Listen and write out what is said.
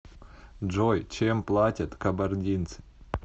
джой чем платят кабардинцы